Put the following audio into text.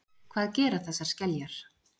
hvað gera þessar skeljar